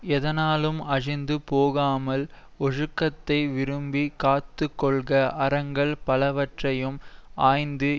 எதனாலும் அழிந்து போகாமல் ஒழுக்கத்தை விரும்பிக் காத்துக்கொள்க அறங்கள் பலவற்றையும் ஆய்ந்து